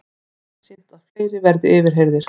Einsýnt að fleiri verði yfirheyrðir